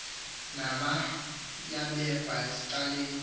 nama yabekwa ecaleni